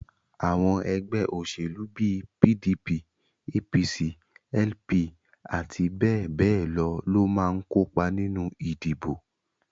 Àwọn ẹgbẹ́ òṣèlú bíi PDP, APC, LP àti bẹ́ẹ̀ bẹ́ẹ̀ lọ máa ń kópa nínú ìdìbò